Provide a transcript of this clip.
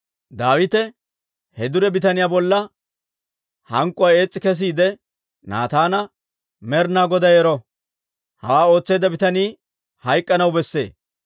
Daawite he dure bitaniyaa bolla hank'k'uwaa ees's'i kesiide Naataana, «Med'inaa Goday ero! Hawaa ootseedda bitanii hayk'k'anaw besse.